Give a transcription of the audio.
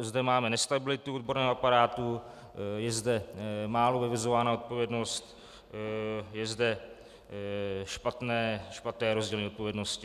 zde máme nestabilitu odborného aparátu, je zde málo vyvozována odpovědnost, je zde špatné rozdělení odpovědnosti.